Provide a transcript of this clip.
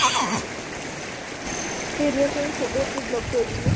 সেই দিনৰ পাই চ'বতে block কৰি দিলো।